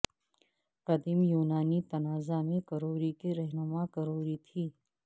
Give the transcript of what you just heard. قدیم یونانی تنازع میں کروری کے رہنما کروری تھی